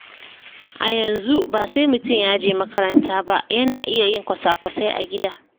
A yanzu ba sai mutum ya je makaranta ba, yana iya yin kwasa-kwasai a gida.